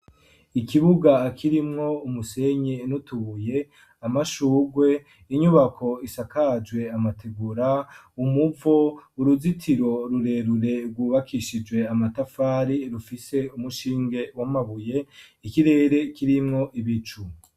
ikibuga kirimwo umusenyi nutubuye, amashugwe, inyubako isakajwe amategura, umuvo, uruzitiro rurerure rwubakishijwe amatafari rufise umushinge w'amabuye, ikirere kirimwo ibicu.